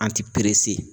An ti perese